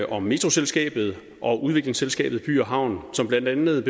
om metroselskabet og udviklingsselskabet by havn som blandt andet